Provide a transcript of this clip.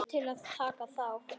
Til að taka þátt